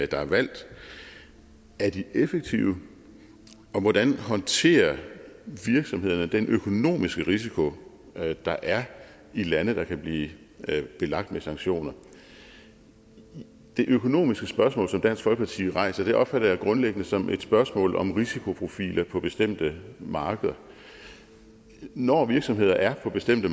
der er valgt er de effektive og hvordan håndterer virksomhederne den økonomiske risiko der er i lande der kan blive belagt med sanktioner det økonomiske spørgsmål som dansk folkeparti rejser opfatter jeg grundlæggende som et spørgsmål om risikoprofiler på bestemte markeder når virksomheder er på bestemte